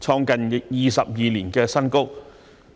創近22年新高。